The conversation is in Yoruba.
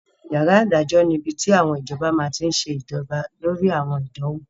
Yàrá ìdájọ́ ni ibi tí àwọn adájọ́ máa tí n ṣe jọba lórí àwọn ìdánwò